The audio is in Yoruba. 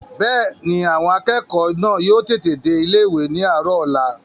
Bẹ́ẹ̀ni, àwọn akẹ́kọ̀ọ́ náà yóò tètè dé ilé-ìwé ní àárọ̀ ọ̀la